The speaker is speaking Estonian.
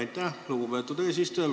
Aitäh, lugupeetud eesistuja!